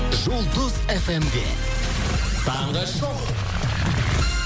жұлдыз эф эм де таңғы шоу